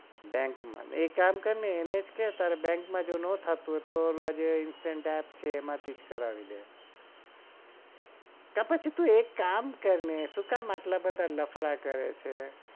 bank માં એક કામ કરને એને જ કેને જો તાર ન થતું હોય તો instant app છે એના પર થી જ કરવી ડે તો પસી તું એક કામ ને શું કામ એટલા બધા લફડા કરે છે